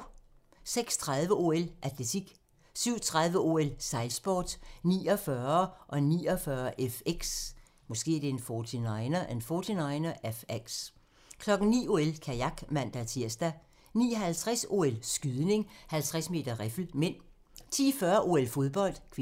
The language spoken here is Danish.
06:30: OL: Atletik 07:30: OL: Sejlsport - 49'er og 49'er FX 09:00: OL: Kajak (man-tir) 09:50: OL: Skydning, 50 m riffel (m) 10:40: OL: Fodbold (k)